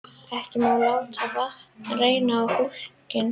Ekki má láta vatn renna á hólkinn.